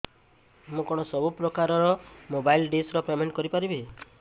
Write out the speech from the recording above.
ମୁ କଣ ସବୁ ପ୍ରକାର ର ମୋବାଇଲ୍ ଡିସ୍ ର ପେମେଣ୍ଟ କରି ପାରିବି